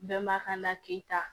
Bɛnbakan na k'i ta